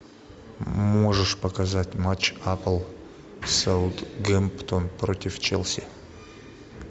можешь показать матч апл саутгемптон против челси